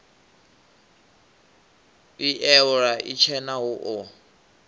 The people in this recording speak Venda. ii iwalo itshena hu o